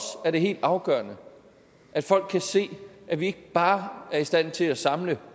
er det helt afgørende at folk kan se at vi ikke bare er i stand til at samles